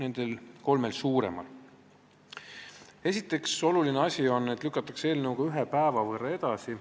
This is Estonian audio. Esiteks on oluline asi see, et elukohaandmete kehtivuse lõppemise kuupäev lükatakse eelnõuga ühe päeva võrra edasi.